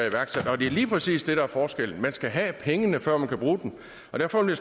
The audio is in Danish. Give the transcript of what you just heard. iværksat og det er lige præcis det der er forskellen man skal have pengene før man kan bruge dem derfor vil